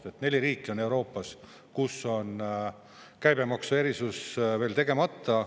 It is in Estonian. Nii et neli riiki Euroopas, kus on käibemaksu erisus veel tegemata.